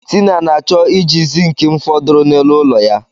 Tina na-achọ iji zink m fọdụrụ n'elu ụlọ ya.